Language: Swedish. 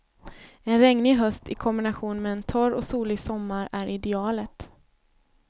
En regnig höst i kombination med en torr och solig sommar är idealet.